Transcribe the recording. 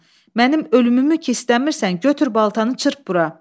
Mənim ölümümü ki istəmirsən, götür baltanı çırp bura.